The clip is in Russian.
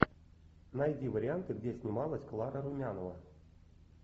найди варианты где снималась клара румянова